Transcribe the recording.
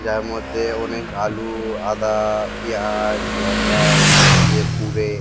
যার মধ্যে অনেক আলু আদা পিঁয়াজ লঙ্কা এই সব দিয়ে পুরে।